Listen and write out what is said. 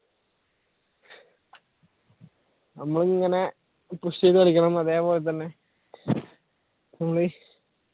നമ്മൾ ഇങ്ങനെ push ചെയ്തു കളിക്കണം അതേപോലെ തന്നെ നമ്മൾ